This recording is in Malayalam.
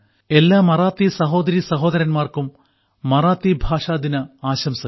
എല്ലാ മറാത്തി സഹോദരീ സഹോദരന്മാർക്കും മറാത്തി ഭാഷാ ദിന ആശംസകൾ